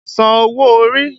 San owó orí!